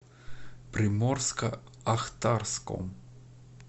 приморско ахтарском